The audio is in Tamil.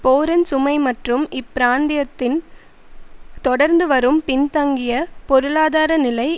போரின் சுமை மற்றும் இப்பிராந்தியத்தின் தொடர்ந்து வரும் பின்தங்கிய பொருளாதார நிலை